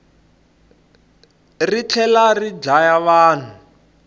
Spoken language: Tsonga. ri tlhelari dlaya vanhu